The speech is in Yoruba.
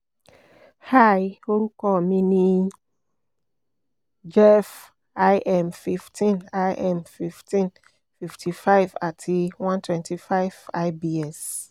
hi orukọ mi ni jeff im 15 im 15 55 ati 125 lbs